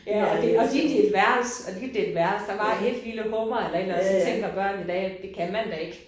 Ja også og delte de et værelse lignede det et værelse der var ét lille hummer eller et eller andet så tænker børn i dag det kan man da ikke